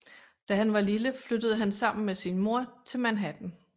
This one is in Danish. Da han var lille flyttede han sammen med sin mor til Manhattan